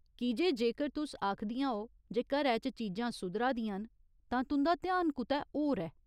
कीजे, जेकर तुस आखदियां ओ जे घरै च चीजां सुधरा दियां न, तां तुं'दा ध्यान कुतै होर ऐ।